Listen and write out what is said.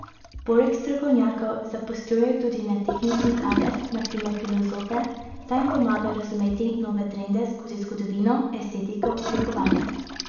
Poleg strokovnjakov zaposlujejo tudi netehnični kader, na primer filozofe, da jim pomagajo razumeti nove trende skozi zgodovino, estetiko, oblikovanje...